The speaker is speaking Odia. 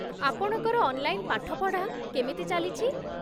ଆପଣଙ୍କର ଅନ୍‌ଲାଇନ ପାଠପଢ଼ା କେମିତି ଚାଲିଛି?